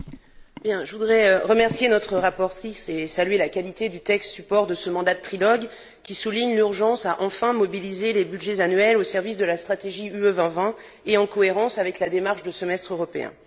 Monsieur le Président, je voudrais remercier notre rapporteure et saluer la qualité du texte support de ce mandat de trilogue, qui souligne l'urgence d'enfin mobiliser les budgets annuels au service de la stratégie Europe 2020 et en cohérence avec la démarche de semestre européen.